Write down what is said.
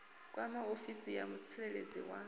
kwama ofisi ya mutsireledzi wa